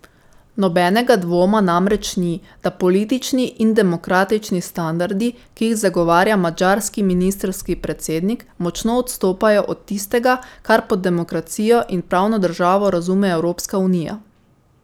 Nobenega dvoma namreč ni, da politični in demokratični standardi, ki jih zagovarja madžarski ministrski predsednik, močno odstopajo od tistega, kar pod demokracijo in pravno državo razume Evropska unija.